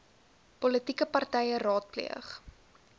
politieke partye raadpleeg